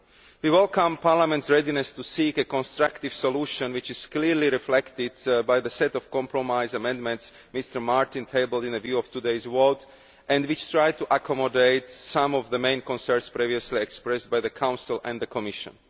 We welcome Parliament's readiness to seek a constructive solution, which is clearly reflected by the set of compromise amendments Mr Martin tabled with a view to today's vote, which try to accommodate some of the main concerns previously expressed by the Council and the Commission.